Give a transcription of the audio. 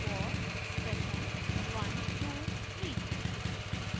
for expression 123